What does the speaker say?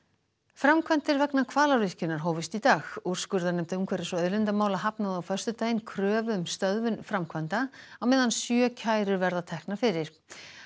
framkvæmdir vegna Hvalárvirkjunar hófust í dag úrskurðarnefnd umhverfis og auðlindamála hafnaði á föstudaginn kröfu um stöðvun framkvæmda á meðan sjö kærur verða teknar fyrir